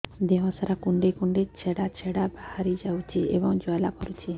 ଦେହ ସାରା କୁଣ୍ଡେଇ କୁଣ୍ଡେଇ ଛେଡ଼ା ଛେଡ଼ା ବାହାରି ଯାଉଛି ଏବଂ ଜ୍ୱାଳା କରୁଛି